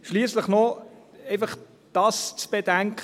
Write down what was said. Schliesslich ist einfach noch dies zu bedenken: